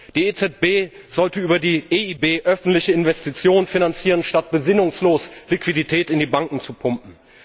Die EZB sollte über die EIB öffentliche Investitionen finanzieren, statt besinnungslos Liquidität in die Banken zu pumpen.